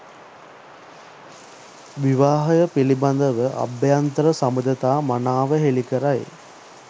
විවාහය පිළිබඳව අභ්‍යන්තර සබඳතා මනාව හෙළිකරයි.